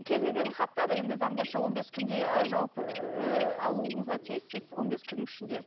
кез келген хаттар енді заң бойынша он бес күнде жауап ыыы алуыңызға тиіссіз он бес күннің ішінде